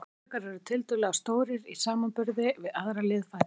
Sporðdrekar eru tiltölulega stórir í samanburði við aðrar liðfætlur.